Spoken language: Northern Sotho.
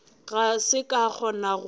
ga ke sa kgona go